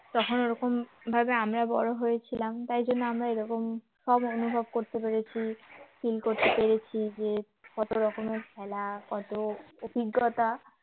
তখন ওরকম ভাবে আমরা বড় হয়েছিলাম তাই জন্য আমরা এরকম সব অনুভব করতে পেরেছি feel করতে পেরেছি যে কত রকমের খেলা কত অভিজ্ঞতা